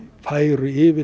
færu yfir